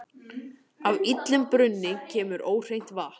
Af illum brunni kemur óhreint vatn.